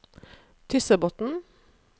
Tyssebotnen